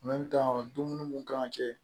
dumuni mun kan ka kɛ